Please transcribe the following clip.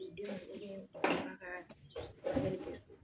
Denw